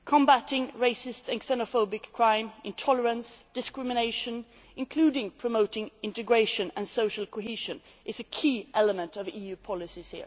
here. Combatting racist and xenophobic crime, intolerance, discrimination, including promoting integration and social cohesion, is a key element of EU policies.